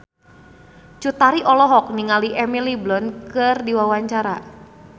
Cut Tari olohok ningali Emily Blunt keur diwawancara